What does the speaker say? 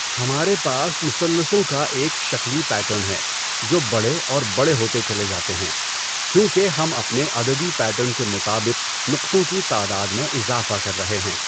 ہمارے پاس مثلثوں کا ایک شکلی کا پیٹرن ہے جو بڑے اور بڑے ہوتے چلے جاتے ہیں کیوں کہ ہم اپنے عددی پیٹرن کے مطابق نقطوں کی تعداد میں اضافہ کر رہے ہیں!